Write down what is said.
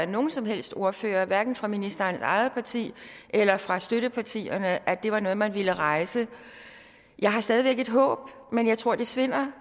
nogen som helst ordfører hverken fra ministerens eget parti eller fra støttepartierne at det var noget som man ville rejse jeg har stadig væk et håb men jeg tror det svinder